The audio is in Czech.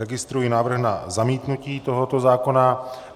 Registruji návrh na zamítnutí tohoto zákona.